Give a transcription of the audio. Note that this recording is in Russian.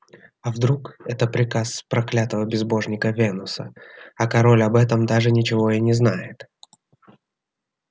а вдруг это приказ проклятого безбожника венуса а король об этом даже ничего и не знает